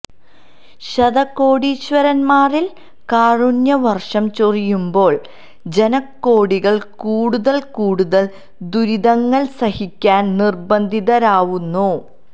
ശതകോടീശ്വരന്മാരില് കാരുണ്യവര്ഷം ചൊരിയുമ്പോള് ജനകോടികള് കൂടുതല് കൂടുതല് ദുരിതങ്ങള് സഹിക്കാന് നിര്ബന്ധിതരാവുന്നു